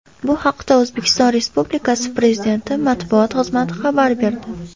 Bu haqda O‘zbekiston Respublikasi Prezidenti Matbuot xizmati xabar berdi .